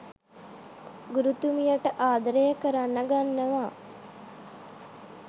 ගුරුතුමියට ආදරය කරන්න ගන්නවා